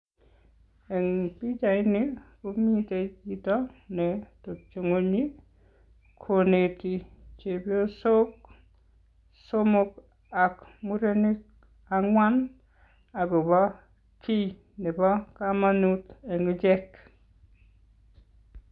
Eng pichaini komitei chito netepchei ingwony koneti chepyosok somok ak murenik angwan akobo kiiy nebo kamanut eng ichek.